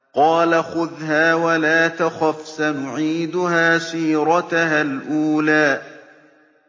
قَالَ خُذْهَا وَلَا تَخَفْ ۖ سَنُعِيدُهَا سِيرَتَهَا الْأُولَىٰ